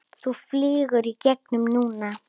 Þú flýgur í gegn núna!